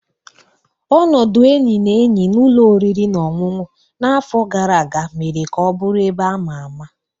Ọnọdụ enyi na enyi na ụlọ oriri na ọṅụṅụ n'afọ gara aga mere ka ọ bụrụ ebe a ma ama.